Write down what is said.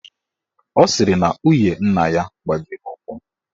Ọ sịrị na nwunye nna ya gbajiri ụkwụ